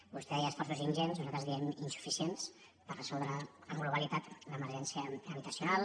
vostè deia esforços ingents nosaltres en diem insuficients per resoldre en globalitat l’emergència habitacional